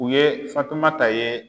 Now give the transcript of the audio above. U ye fatumata ye